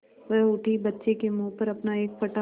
वह उठी बच्चे के मुँह पर अपना एक फटा